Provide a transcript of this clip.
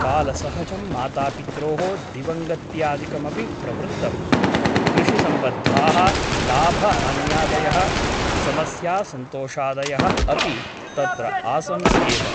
कालसहजं मातापित्रोः दिवङ्गत्यादिकमपि प्रवृत्तम् । कृषिसम्बद्धाः लाभ हान्यादयः समस्यासन्तोषादयः अपि तत्र आसन् एव ।